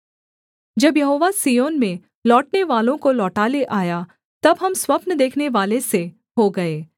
जब यहोवा सिय्योन में लौटनेवालों को लौटा ले आया तब हम स्वप्न देखनेवाले से हो गए